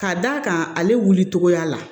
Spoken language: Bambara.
Ka d'a kan ale wulicogoya la